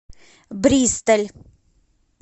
бристоль